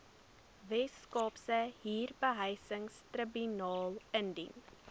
weskaapse huurbehuisingstribunaal indien